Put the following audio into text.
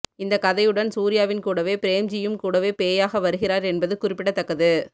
இந்த கதையுடன் சூர்யாவின் கூடவே பிரேம்ஜியும் கூடவே பேயாக வருகிறார் என்பது குறிப்பிடத்தக்கது